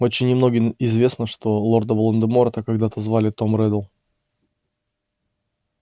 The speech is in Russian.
очень немногим известно что лорда волан-де-морта когда-то звали том реддл